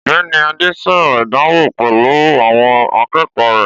Ọ̀gbẹ́ni Adé sọ̀rọ̀ ìdánwò pẹ̀lú àwọn akẹ́kọ̀ọ́ rẹ̀